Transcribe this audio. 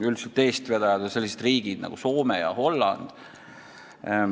Üldiselt on eestvedajad sellised riigid nagu Soome ja Holland.